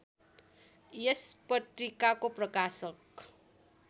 यस पत्रिकाको प्रकाशक